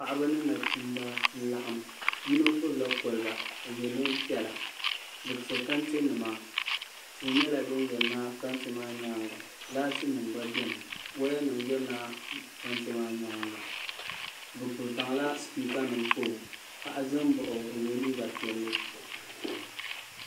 paɣaba mini nachimba n-laɣim yino gbubila koliba n-ye neempiɛla bɛ te kantenima tihi nyɛla din yirina kante maa nyaaŋa laatinima gba be ni wayanima yirina kante maa nyaaŋa o zaŋla sipiikanima kpa o paɣa zaya m-baɣi o o yela liiga piɛlli